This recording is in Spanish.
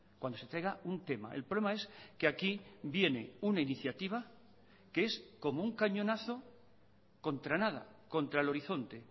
cuando se traiga un tema el problema es que aquí viene una iniciativa que es como un cañonazo contra nada contra el horizonte